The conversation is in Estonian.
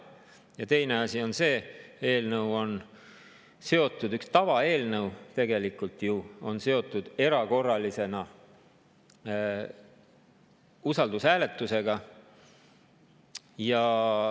Ja teine asi on see: üks tavaeelnõu on ju seotud erakorralisel istungil usaldushääletusega.